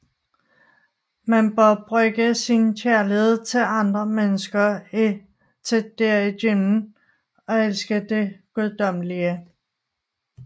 Man bør bruge sin kærlighed til andre mennesker til derigennem at elske det guddommelige